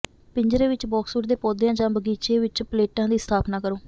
ਪਿੰਜਰੇ ਵਿਚ ਬਾਕਸਵੁੱਡ ਦੇ ਪੌਦਿਆਂ ਜਾਂ ਬਗੀਚੇ ਵਿਚ ਪਲੇਟਾਂ ਦੀ ਸਥਾਪਨਾ ਕਰੋ